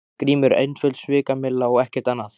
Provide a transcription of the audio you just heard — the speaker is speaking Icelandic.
GRÍMUR: Einföld svikamylla og ekkert annað.